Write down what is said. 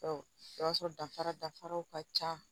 Ɔ i b'a sɔrɔ dafara dafaraw ka ca